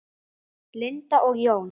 Linda og Jón.